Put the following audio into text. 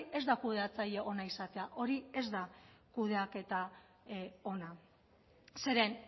ez da kudeatzaile ona izatea hori ez da kudeaketa ona zeren